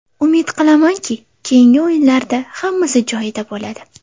Umid qilamanki, keyingi o‘yinlarda hammasi joyida bo‘ladi.